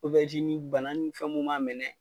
bana ni fɛn mun ma minɛ